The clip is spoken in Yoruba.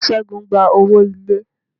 Segun gba owó ilé.